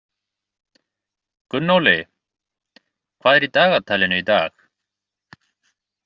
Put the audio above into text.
Gunnóli, hvað er í dagatalinu í dag?